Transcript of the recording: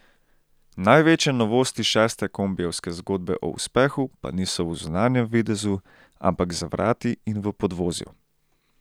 Največje novosti šeste kombijevske zgodbe o uspehu pa niso v zunanjem videzu, ampak za vrati in v podvozju.